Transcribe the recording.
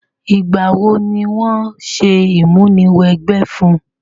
Ìgbà wo ni wo se ìmúniwẹgbẹ́ fun?